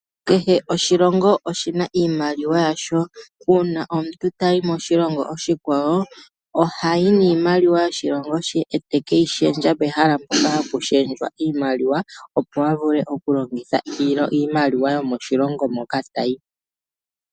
Kehe oshilongo oshi na iimaliwa yasho. Uuna omuntu ta yi moshilongo oshikwawo, oha yi niimaliwa yoshilongo she e te ke yi shendja pehala mpoka ha pu shendjwa iimaliwa, opo a vule okulongitha iimaliwa yomoshilongo moka ta yi.